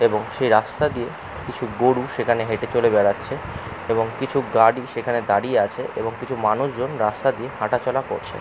এবং সেই রাস্তা দিয়ে কিছু গরু সেখানে হেটেচলে বেড়াচ্ছে এবং কিছু গাড়ি সেখানে দাঁড়িয়ে আছে এবং কিছু মানুষজন রাস্তা দিয়ে হাঁটাচলা করছে।